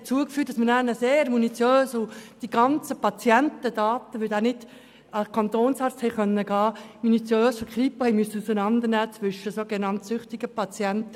Das führte dazu, dass man dann für die Kriminalpolizei (Kripo) die Patientendaten sehr minutiös aufarbeiten und eine Triage machen musste zwischen sogenannt süchtigen und nicht süchtigen Patienten.